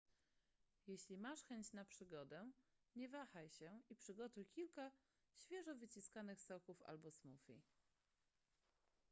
jeśli masz chęć na przygodę nie wahaj się i przygotuj kilka świeżo wyciskanych soków albo smoothie